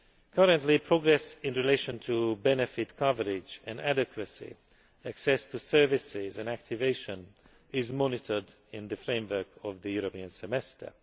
Currently, progress in relation to benefit coverage and adequacy, access to services and activation is monitored in the framework of the European Semester.